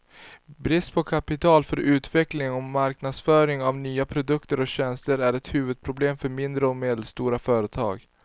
Brist på kapital för utveckling och marknadsföring av nya produkter och tjänster är ett huvudproblem för mindre och medelstora företag.